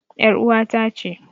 ƴar uwata ce.